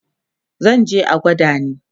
zanje a gwada ni